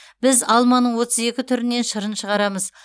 біз алманың отыз екі түрінен шырын шығарамыз